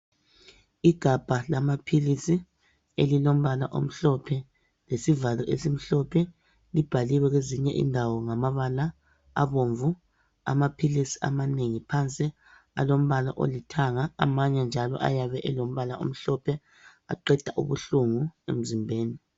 Igabha lamaphilisi elilombala omhlophe lesivalo esimhlophe libhaliwe kwezinye indawo ngamabala abomvu, amaphilisi amanengi phansi alombala olithanga amanye njalo ayabe elombala omhlophe, aqeda ubuhlungu emzimbeni.